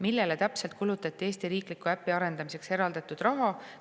Millele täpselt kulutati Eesti riikliku äpi arendamiseks eraldatud raha?